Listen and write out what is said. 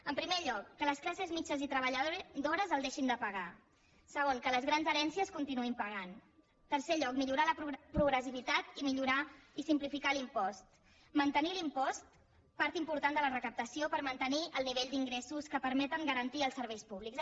en primer lloc que les classes mitjanes i treballadores el deixin de pagar en segon que les grans herències continuïn pagant en tercer lloc millorar la progressivitat i millorar i simplificar l’impost mantenir l’impost part important de la recaptació per mantenir el nivell d’ingressos que permeten garantir els serveis públics